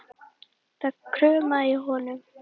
Það kumraði í honum.